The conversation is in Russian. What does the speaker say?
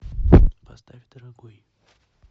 поставь дорогой